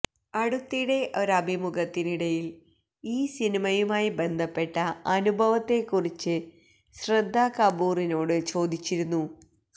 അടുത്തിടെ ഒരഭിമുഖത്തിനിടയില് ഈ സിനിമയുമായി ബന്ധപ്പെട്ട അനുഭവത്തെക്കുറിച്ച് ശ്രദ്ധ കപൂറിനോട് ചോദിച്ചിരുന്നു